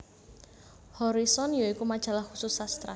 Horison ya iku majalah khusus sastra